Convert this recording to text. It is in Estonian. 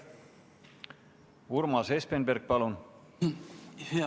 Urmas Espenberg, palun!